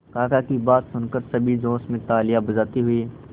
काका की बात सुनकर सभी जोश में तालियां बजाते हुए